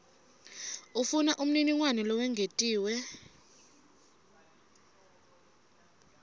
ufuna umniningwane lowengetiwe